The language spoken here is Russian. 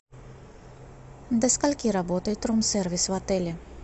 до скольки работает рум сервис в отеле